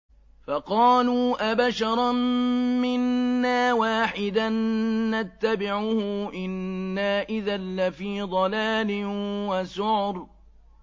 فَقَالُوا أَبَشَرًا مِّنَّا وَاحِدًا نَّتَّبِعُهُ إِنَّا إِذًا لَّفِي ضَلَالٍ وَسُعُرٍ